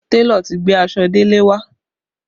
Télọ̀ ti gbé aṣọ Dele wá